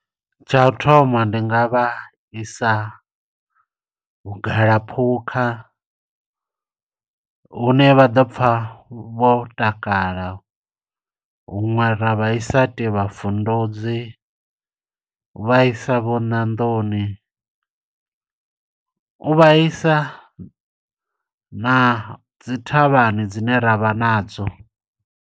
Tsha u thoma ndi nga vha isa vhugalaphukha hune vha ḓo pfa vho takala. Huṅwe ra vha isa Tivha Vunduzi, vha isa vho Nandoni. U vhaisa na dzi thavhani dzine ravha nadzo.